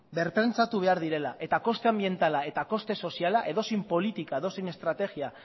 berpentsatu behar direla eta koste anbientala eta koste soziala edozein politika edozein estrategia